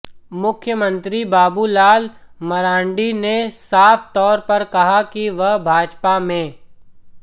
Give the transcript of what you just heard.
मुख्यमंत्री बाबूलाल मरांडी ने साफ तौर पर कहा है कि वह भाजपा में